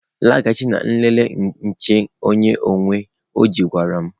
Laghachi na nlele nche onye uwe ojii gwara m